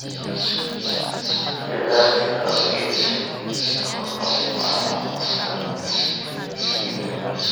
sidaas awgeedna kor loogu qaado waxtarka nidaamka deegaanka.